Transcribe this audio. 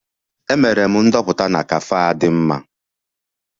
Emere m ndoputa na cafe a dị mma